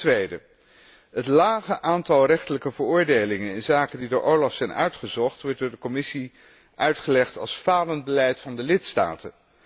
Ten tweede wordt het lage aantal rechtelijke veroordelingen in zaken die door OLAF zijn uitgezocht, door de Commissie uitgelegd als falend beleid van de lidstaten.